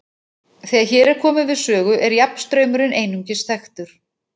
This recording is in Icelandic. Þegar hér er komið við sögu er jafnstraumurinn einungis þekktur.